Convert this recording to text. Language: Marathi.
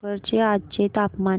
भोकर चे आजचे तापमान